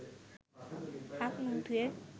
হাত-মুখ ধুয়ে